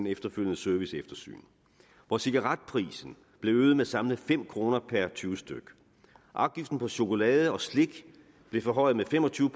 efterfølgende serviceeftersyn hvor cigaretprisen blev øget med samlet fem kroner per tyve stykke afgiften på chokolade og slik blev forhøjet med fem og tyve